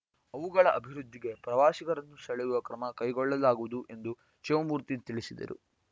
ಅವುಗಳ ಅಭಿವೃದ್ಧಿಗೆ ಪ್ರವಾಸಿಗರನ್ನು ಸೆಳೆಯಲು ಕ್ರಮ ಕೈಗೊಳ್ಳಲಾಗುವುದು ಎಂದು ಶಿವಮೂರ್ತಿ ತಿಳಿಸಿದರು